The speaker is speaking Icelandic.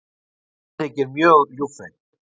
Það þykir mjög ljúffengt.